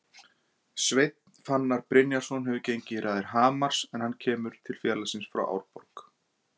Sveinn Fannar Brynjarsson hefur gengið í raðir Hamars en hann kemur til félagsins frá Árborg.